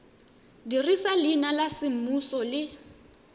dirisa leina la semmuso le